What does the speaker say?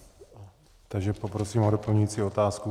Takže poprosím o doplňující otázku.